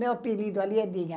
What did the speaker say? Meu apelido ali é Dinha.